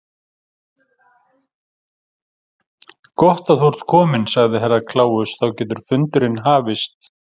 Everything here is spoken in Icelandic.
Gott að þú ert kominn, sagði Herra Kláus, þá getur fundurinn hafist.